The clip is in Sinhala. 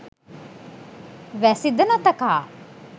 වැසි ද නොතකා